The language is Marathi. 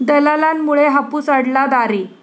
दलालांमुळे हापूस अडला दारी!